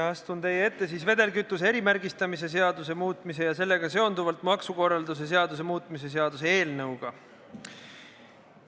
Astun teie ette vedelkütuse erimärgistamise seaduse muutmise ja sellega seonduvalt maksukorralduse seaduse muutmise seaduse eelnõuga.